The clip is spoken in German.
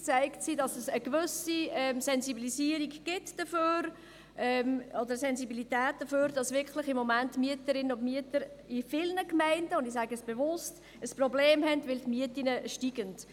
Sie zeigt einerseits, dass es eine gewisse Sensibilisierung der Mieterinnen und Mieter in vielen Gemeinden gibt, weil die Mieten steigen.